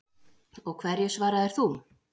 Og hverju svaraðir þú?